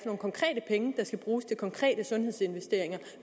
skal bruges til konkrete sundhedsinvesteringer